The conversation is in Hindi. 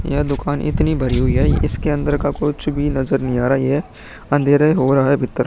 ये दुकान इतनी भरी हुई है इस के अंदर का कुछ भी नज़र नहीं आ रहा है। यहाँ अँधेरा हो रहा भीतर।